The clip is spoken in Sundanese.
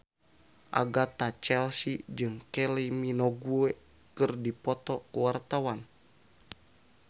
Agatha Chelsea jeung Kylie Minogue keur dipoto ku wartawan